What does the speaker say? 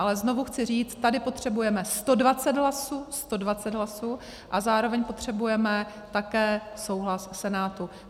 Ale znovu chci říct, tady potřebujeme 120 hlasů a zároveň potřebujeme také souhlas Senátu.